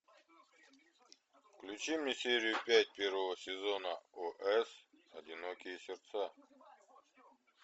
включи мне серию пять первого сезона ос одинокие сердца